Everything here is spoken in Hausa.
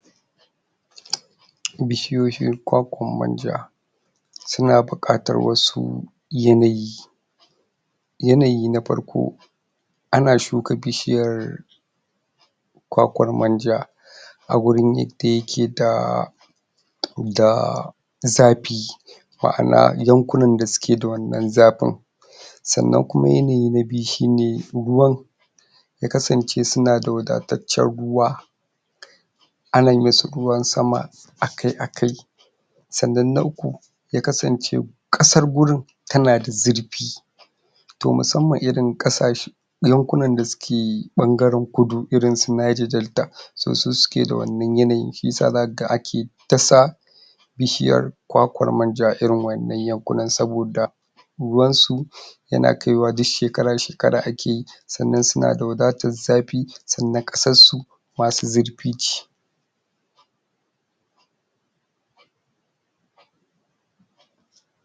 Bishiyoyin kwakwan manja suna buƙatar wasu yanayi yanayi na farko ana shuka bishiryar kwakwar manja agurin yadda yake da da zafi ma ana yankuna da suke da wannan zafin sannan kuma yana na biyu shine ruwan yakasance sunada wadatartan ruwa ana misu ruwan sama akai akai sannan na uku yakasance ƙasar gurin tanada zurfi to musamman irin ƙasashe yankunan da suke ɓangaran kudu irinsu naija delta so su suke da wannan yanayi shiyasa zakaga ake tasa bishiyar kwakwar manja irin wannan yankunan saboda ruwansu yana kaiwa duk shekara shekara akeyi sannan sunda wadatar safe sannan ƙasar su masu zurfi ce